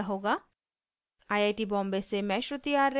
I I T Bombay से मैं श्रुति आर्य आपसे विदा लेती हूँ